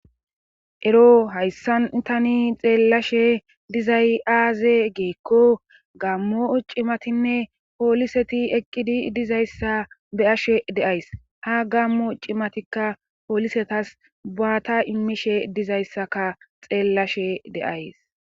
ero hayssantani xeellashe dizay aaze giikko gammo cimatinne pooliseti eqqidi dizayssa be'ashe de'ays ha gammo cimatikka poolisetas buaata immishe dizayssaka xeellashe de7ays